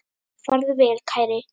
Farðu vel, kæri.